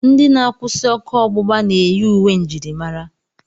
Ndị na-akwụsị ọkụ ọgbụgba na-eyi uwe njirimara.